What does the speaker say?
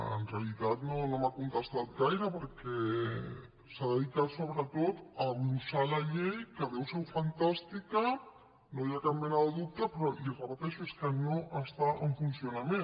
en realitat no m’ha contestat gaire perquè s’ha dedicat sobretot a glossar la llei que deu ser fantàstica no hi ha cap mena de dubte però li ho repeteixo és que no està en funcionament